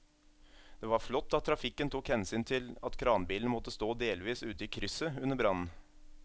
Det var flott at trafikken tok hensyn til at kranbilen måtte stå delvis ute i krysset under brannen.